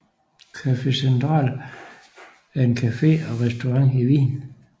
Café Central er en café og restaurant i Wien